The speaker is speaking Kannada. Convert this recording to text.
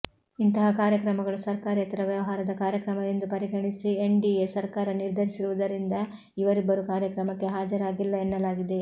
ಇಂತಹ ಕಾರ್ಯಕ್ರಮಗಳು ಸರ್ಕಾರೇತರ ವ್ಯವಹಾರದ ಕಾರ್ಯಕ್ರಮ ಎಂದು ಪರಿಗಣಿಸಲು ಎನ್ಡಿಎ ಸರ್ಕಾರ ನಿರ್ಧರಿಸಿರುವುದರಿಂದ ಇವರಿಬ್ಬರೂ ಕಾರ್ಯಕ್ರಮಕ್ಕೆ ಹಾಜರಾಗಿಲ್ಲ ಎನ್ನಲಾಗಿದೆ